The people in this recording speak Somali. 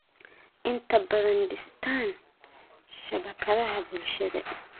inta badan dhistaan ??shabakadaha bulshada.